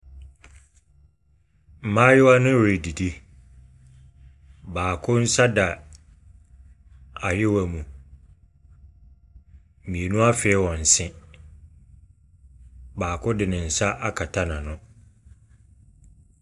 Mmayewa no redidi. Baako nsa da awewa mu. Mmienu afee wɔn se. Baako de nsa akata n'ano.